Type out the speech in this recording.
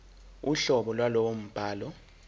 uhlobo lwalowo mbhalo